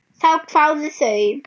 Þá kváðu þau